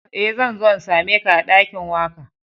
Eh, zan zo n'same ka a dakin waka.